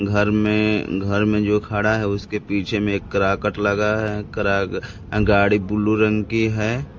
घर में घर में जो खड़ा है उसके पीछे में ये काराकाट लगा है करा गाड़ी ब्लू रंग की है।